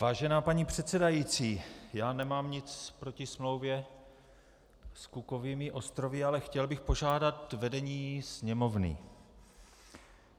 Vážená paní předsedající, já nemám nic proti smlouvě s Cookovými ostrovy, ale chtěl bych požádat vedení Sněmovny.